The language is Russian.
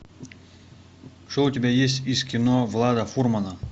что у тебя есть из кино влада фурмана